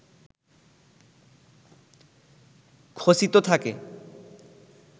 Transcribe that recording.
খচিত থাকে